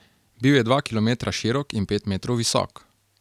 Bil je dva kilometra širok in pet metrov visok.